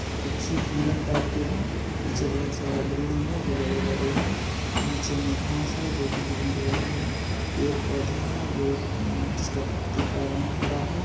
कुछ हिरन टाइप के है पीछे बहुत सारा बिल्डिंग है जो बड़े-बड़े है नीचे मे घास है जो कि ग्रीन कलर का है पेड़-पौधे है जो उम जिसका पत्ती का रंग हरा है।